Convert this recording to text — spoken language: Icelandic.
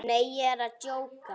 Nei, ég er að djóka.